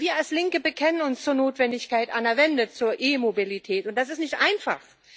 Wir als Linke bekennen uns zur Notwendigkeit einer Wende zur E Mobilität, und das ist nicht einfach.